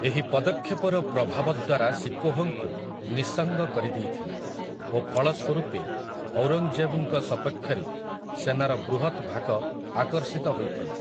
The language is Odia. ଏହି ପଦକ୍ଷେପର ପ୍ରଭାବ ଦାରା ଶିକୋହଙ୍କୁ ନିଃସଙ୍ଗ କରିଦେଇଥିଲା, ଓ ଫଳ ସ୍ୱରୂପେ ଔରଙ୍ଗଜେବଙ୍କ ସପକ୍ଷରେ ସେନାର ବୃହତ ଭାଗ ଆକର୍ଷିତ ହୋଇଥିଲା ।